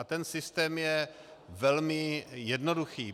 A ten systém je velmi jednoduchý.